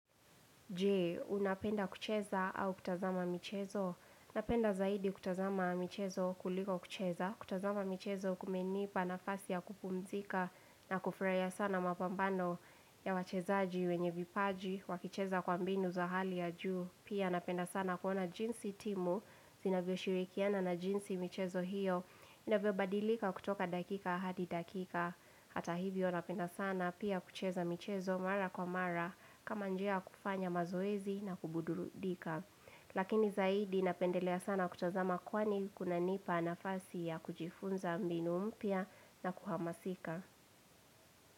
Jee, unapenda kucheza au kutazama mchezo? Napenda zaidi kutazama michezo kuliko kucheza, kutazama michezo kumenipa nafasi ya kupumzika na kufurahia sana mapambano ya wachezaji wenye vipaji, wakicheza kwa mbinu za hali ya juu. Pia napenda sana kuona jinsi timu, zinavyoshirikiana na jinsi michezo hiyo. Inavyo badilika kutoka dakika hadi dakika Hata hivyo napenda sana pia kucheza michezo mara kwa mara kama njia ya kufanya mazoezi na kubududika Lakini zaidi napendelea sana kutazama kwani kunanipa nafasi ya kujifunza mbinu mpya na kuhamasika.